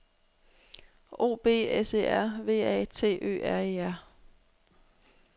O B S E R V A T Ø R E R